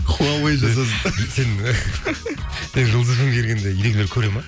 хуавэй жасасын сен жұлдыз фм ге келгенде көреді ме